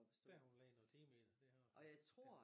Da hun lagde noget time i det det har hun